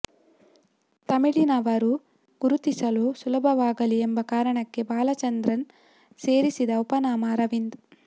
ತಮಿಳಿನವರು ಗುರುತಿಸಲು ಸುಲಭವಾಗಲಿ ಎಂಬ ಕಾರಣಕ್ಕೆ ಬಾಲಚಂದರ್ ಸೇರಿಸಿದ ಉಪನಾಮ ಅರವಿಂದ್